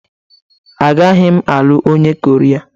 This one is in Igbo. Agaghị m alụ onye Koria